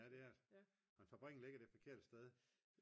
ja det er det men fabrikken ligger det forkerte sted